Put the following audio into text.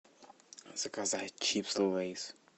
заказать чипсы лейс